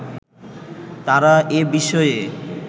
তারা এ বিষয়ে